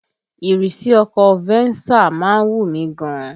Ìrísí ọkọ̀ Venza má ń wù mí gan ni